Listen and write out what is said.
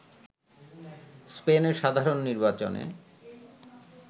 স্পেনে সাধারণ নির্বাচনে